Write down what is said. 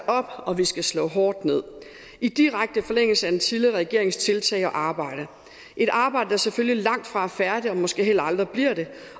op og vi skal slå hårdt ned i direkte forlængelse af den tidligere regerings tiltag og arbejde et arbejde der selvfølgelig langtfra er færdigt og måske heller aldrig bliver det